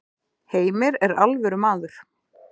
Heimir er alvöru maður.